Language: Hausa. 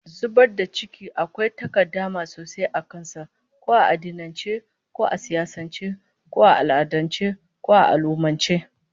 Zubar da ciki akwai takaddama sosai a kan sa, ko a addinance, ko a siyasance, ko a al'adance, ko a al'ummance